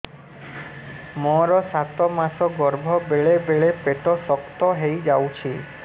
ମୋର ସାତ ମାସ ଗର୍ଭ ବେଳେ ବେଳେ ପେଟ ଶକ୍ତ ହେଇଯାଉଛି